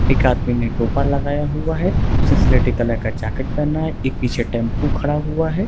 एक आदमी ने टोपा लगाया हुआ है उसने स्लेटी कलर का जैकेट पहना हुआ है एक पीछे टेम्पो खड़ा हुआ है।